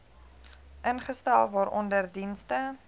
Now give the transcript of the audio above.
ingestel waaronder dienste